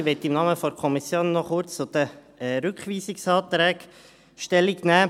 Ich möchte im Namen der Kommission noch kurz zu den Rückweisungsanträgen Stellung nehmen.